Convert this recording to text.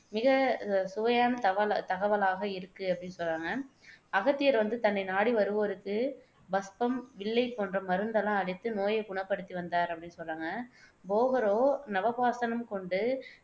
மிகச்சுவையான தகவ தகவலாக இருக்கு அப்படின்னு சொல்றாங்க. அகத்தியர் வந்து தன்னை நாடி வருவோர்க்கு பஸ்பம், வில்லை போன்ற மருந்து எல்லாம் அளித்து நோயைக் குணப்படுத்தி வந்தார் அப்படின்னு சொல்றாங்க. போகரோ நவபாஷாணம் கொண்டு